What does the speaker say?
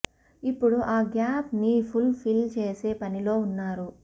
ఇప్పుడు ఆ గ్యాప్ ని ఫుల్ ఫిల్ చేసే పనిలో ఉన్నారు